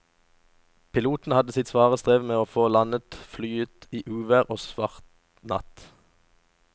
Piloten hadde sitt svare strev med å få landet flyet i uvær og svart natt.